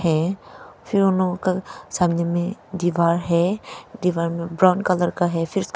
है फिर उन लोगों का सामने में दीवार है दीवार में ब्राउन कलर का है फिर--